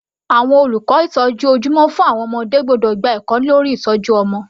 Àwọn olùkọ́ ìtọ́jú ojúmọ́ fún àwọn ọmọdé gbọ́dọ̀ gba ẹ̀kọ́ lórí ìtọ́jú ọmọ.